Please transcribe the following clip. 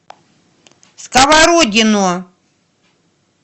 сковородино